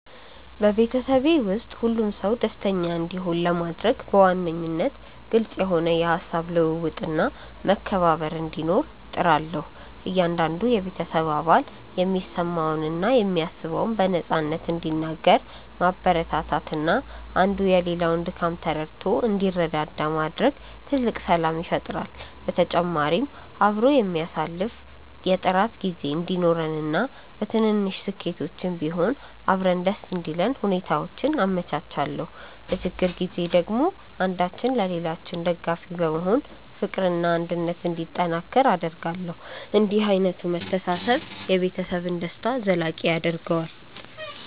በቤተሰቤ ውስጥ ሁሉም ሰው ደስተኛ እንዲሆን ለማድረግ በዋነኝነት ግልጽ የሆነ የሃሳብ ልውውጥና መከባበር እንዲኖር እጥራለሁ። እያንዳንዱ የቤተሰብ አባል የሚሰማውንና የሚያስበውን በነፃነት እንዲናገር ማበረታታትና አንዱ የሌላውን ድካም ተረድቶ እንዲረዳዳ ማድረግ ትልቅ ሰላም ይፈጥራል። በተጨማሪም አብሮ የሚያሳልፍ የጥራት ጊዜ እንዲኖረንና በትንንሽ ስኬቶችም ቢሆን አብረን ደስ እንዲለን ሁኔታዎችን አመቻቻለሁ። በችግር ጊዜ ደግሞ አንዳችን ለሌላችን ደጋፊ በመሆን ፍቅርና አንድነት እንዲጠናከር አደርጋለሁ። እንዲህ ዓይነቱ መተሳሰብ የቤተሰብን ደስታ ዘላቂ ያደርገዋል።